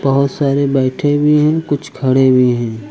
बहुत सारे बैठे भी हैं कुछ खड़े भी हैं।